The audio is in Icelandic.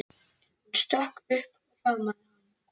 Hún stökk upp og faðmaði hann.